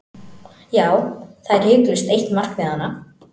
Já, það er hiklaust eitt markmiðanna.